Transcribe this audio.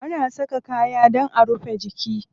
Ana saka kaya dan a rufe jiki.